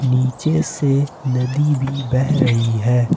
नीचे से नदी भी बह रही है।